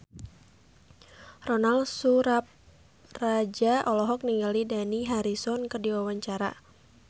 Ronal Surapradja olohok ningali Dani Harrison keur diwawancara